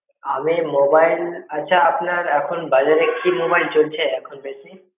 আমি mobile আচ্ছা আপনার এখন বাজারে কি mobile চলছে এখন বেশি?